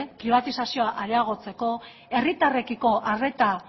pribatizazioa areagotzeko herritarrekiko arreta